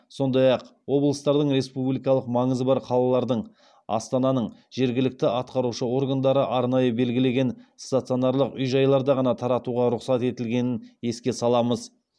сондай ақ облыстардың республикалық маңызы бар қалалардың астананың жергілікті атқарушы органдары арнайы белгілеген стационарлық үй жайларда ғана таратуға рұқсат етілгенін еске саламыз